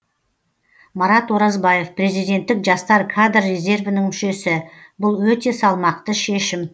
марат оразбаев президенттік жастар кадр резервінің мүшесі бұл өте салмақты шешім